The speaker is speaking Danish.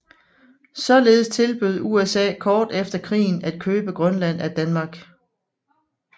Således tilbød USA kort efter krigen at købe Grønland af Danmark